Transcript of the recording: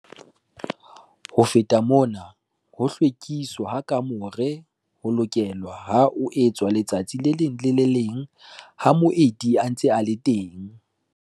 Ho feta mona ho hlwekiswa ha kamore ho lokelwa ho etswa letsatsi le leng le le leng ha moeti a ntse a le teng.